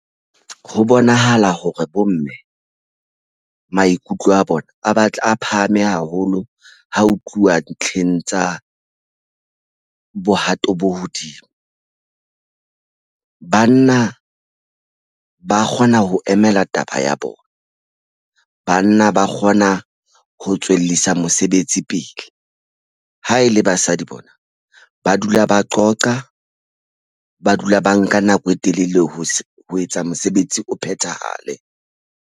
Ho bonahala hore bomme maikutlo a bona a batla a phahame haholo ha ho tluwa ntlheng tsa bohato bo hodimo. Banna ba kgona ho emela taba ya bona. Banna ba kgona ho tswellisa mosebetsi pele. Ha e le basadi bona ba dula ba qoqa ba dula ba nka nako e telele ho ho etsa mosebetsi o phethahale.